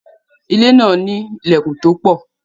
ilé náà ní ìlèkùn to pọ̀